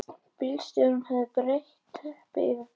Bílstjórinn hafði breitt teppi yfir björninn